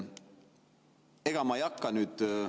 Ega ma ei hakka nüüd …